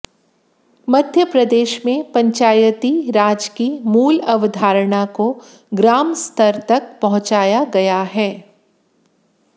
मध्यप्रदेश में पंचायती राज की मूल अवधारणा को ग्राम स्तर तक पहुंचाया गया है